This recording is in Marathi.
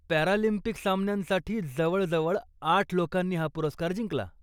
पॅरालिम्पिक सामन्यांसाठी जवळजवळ आठ लोकांनी हा पुरस्कार जिंकला.